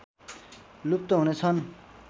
लुप्त हुनेछन्